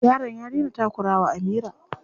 Yaron ya daina takura wa Amira.